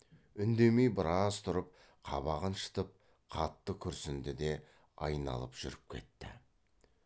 үндемей біраз тұрып қабағын шытып қатты күрсінді де айналып жүріп кетті